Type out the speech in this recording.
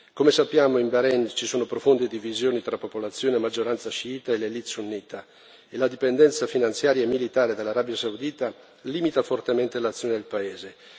Come sappiamo, in Bahrein ci sono profonde divisioni tra popolazione a maggioranza sciita e l'élite sunnita e la dipendenza finanziaria e militare dell'Arabia Saudita limita fortemente l'azione del paese.